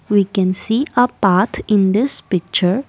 we can see a path in this picture.